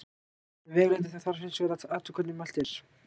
Við áætlun vegalengda þarf hins vegar að athuga hvernig mælt er.